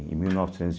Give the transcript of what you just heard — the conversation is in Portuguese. Em mil novecentos